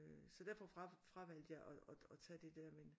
Øh så derfor fravalgte jeg at tage det der men